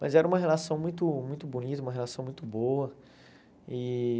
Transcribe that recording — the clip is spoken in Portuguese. Mas era uma relação muito muito bonita, uma relação muito boa. E